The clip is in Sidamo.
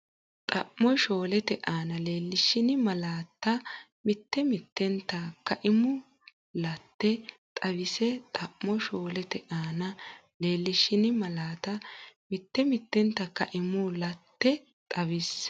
Xamo shoolete aana leellishshini malaatta mitte mittente kaimu laate xawisse Xamo shoolete aana leellishshini malaatta mitte mittente kaimu laate xawisse.